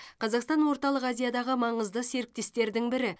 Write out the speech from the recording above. қазақстан орталық азиядағы маңызды серіктестердің бірі